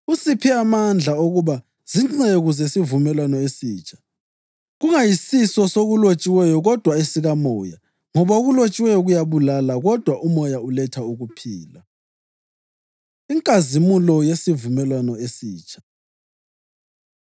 Usiphe amandla okuba zinceku zesivumelwano esitsha, kungayisiso sokulotshiweyo kodwa esikaMoya; ngoba okulotshiweyo kuyabulala kodwa uMoya uletha ukuphila. Inkazimulo Yesivumelwano Esitsha